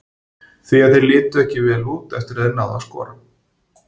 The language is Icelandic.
Því að þeir litu ekki vel út eftir að þeir náðu að skora.